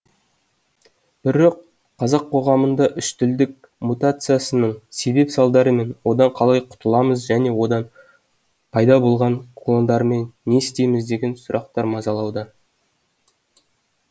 бірі қазақ қоғамында үштілділік мутациясының себеп салдары мен одан қалай құтыламыз және одан пайда болған клондармен не істейміз деген сұрақтар мазалауда